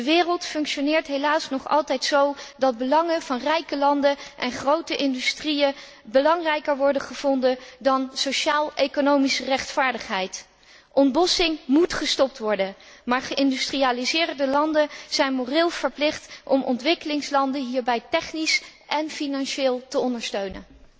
De wereld functioneert helaas nog altijd zo dat belangen van rijke landen en grote industrieën belangrijker worden gevonden dan sociaal economische rechtvaardigheid. Ontbossing moet gestopt worden, maar geïndustrialiseerde landen zijn moreel verplicht om ontwikkelingslanden hierbij technisch en financieel te ondersteunen.